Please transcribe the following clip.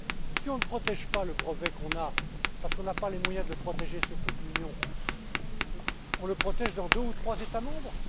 Si on ne protège pas le brevet que l'on a parce que l'on n'a pas les moyens de le protéger dans toute l'Union, va t on le protéger dans deux ou trois États membres?